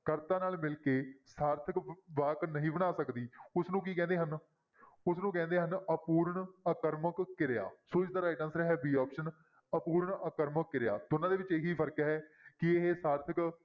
ਕਰਤਾ ਨਾਲ ਮਿਲ ਕੇ ਸਾਰਥਕ ਵਾਕ ਨਹੀਂ ਬਣਾ ਸਕਦੀ ਉਸਨੂੰ ਕੀ ਕਹਿੰਦੇ ਹਨ ਉਸਨੂੰ ਕਹਿੰਦੇ ਹਨ ਅਪੂਰਨ ਆਕਰਮਕ ਕਿਰਿਆ, ਸੋ ਇਸਦਾ right answer ਹੈ b option ਅਪੂਰਨ ਆਕਰਮਕ ਕਿਰਿਆ, ਦੋਨਾਂ ਦੇ ਵਿੱਚ ਇਹੀ ਫ਼ਰਕ ਹੈ ਕਿ ਇਹ ਸਾਰਥਕ